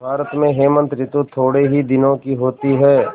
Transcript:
भारत में हेमंत ॠतु थोड़े ही दिनों की होती है